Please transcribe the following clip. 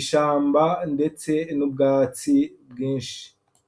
ishamba, ndetse n'ubwatsi bwinshi.